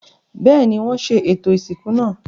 Bẹ́ẹ̀ni, wọ́n ṣe ètò ìsìnkú náà.